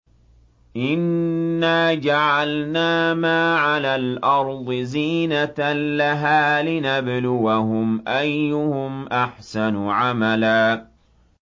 إِنَّا جَعَلْنَا مَا عَلَى الْأَرْضِ زِينَةً لَّهَا لِنَبْلُوَهُمْ أَيُّهُمْ أَحْسَنُ عَمَلًا